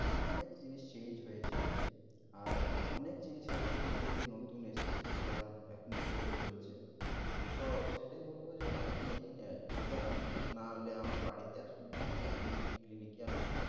অনেক জিনিস change হয়েছে। আর অনেক জিনিস আছে যে এখন নতুন এসেছে যার এখন study চলছে। তো সেটাই বলব যে আপনি এখানে একবার আসুন নাহলে আমার বাড়িতে আসুন নাহলে আপনি cli~ clinic এ আসুন।